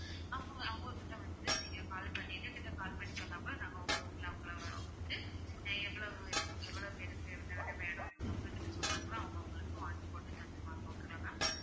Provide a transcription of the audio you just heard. அவங்க அவங்க கிட்ட வந்து நீங்க call பண்ணி எங்ககிட்ட call பண்ணி சொன்னாகூட நாங்க உங்க room ல அவங்கள வந்து எவ்வளவு இது எவ்வளவு பேருக்கு என்னென்ன வேணும் அவங்க கிட்ட சொன்னா கூட அவங்க உங்களுக்கு வாங்கி போட்டு தந்திடுவாங்க okay வா ma'am